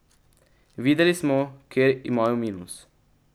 Videli smo, kje imajo minus.